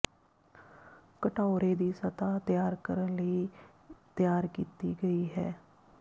ਘਟਾਓਰੇ ਦੀ ਸਤਹ ਤਿਆਰ ਕਰਨ ਲਈ ਤਿਆਰ ਕੀਤੀ ਗਈ ਹੈ